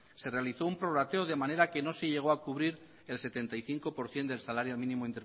se realizó un prorrateo de manera que no se llegó a cubrir el setenta y cinco por ciento del salario mínimo